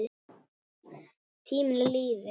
Tíminn líður.